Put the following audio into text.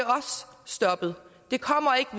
stoppet det kommer ikke